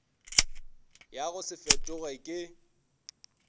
ya go se fetoge ke